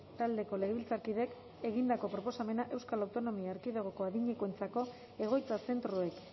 taldeko legebiltzarkideek egindako proposamena euskal autonomia erkidegoko adinekoentzako egoitza zentroek